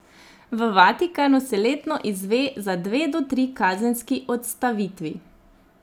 V Vatikanu se letno izve za dve do tri kazenski odstavitvi.